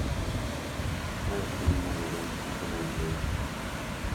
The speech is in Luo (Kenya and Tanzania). Mae konyo mondo lweny kik omedore